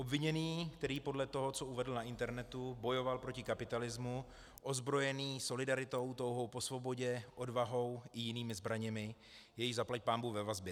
Obviněný, který podle toho, co uvedl na internetu, bojoval proti kapitalismu, ozbrojený solidaritou, touhou po svobodě, odvahou i jinými zbraněmi, je již zaplať pánbůh ve vazbě.